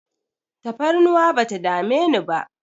Tafarnuwa bata dame ni ba